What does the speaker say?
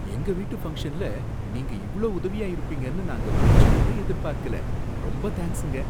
எங்க வீட்டு ஃபங்க்ஷன்ல நீங்க இவ்ளோ உதவியா இருப்பீங்கன்னு நாங்க கொஞ்சம்கூட எதிர்பார்க்கல, ரொம்ப தேங்க்ஸுங்க!